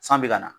San bɛ ka na